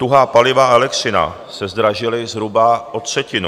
Tuhá paliva a elektřina se zdražily zhruba o třetinu.